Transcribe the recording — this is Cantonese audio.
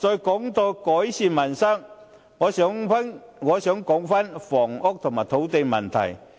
談到改善民生，我想討論一下房屋和土地問題。